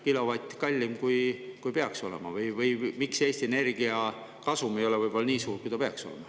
… kilovatt kallim, kui peaks olema, või miks Eesti Energia kasum ei ole võib-olla nii suur, kui see peaks olema.